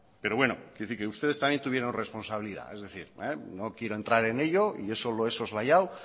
pero ustedes también tuvieron responsabilidad es decir no quiero entrar en ello y eso lo he soslayado